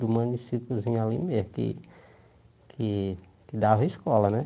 Do municípiozinho ali mesmo, que que dava escola, né?